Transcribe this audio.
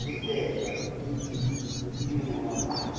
ho natefelwa ke dingolwa e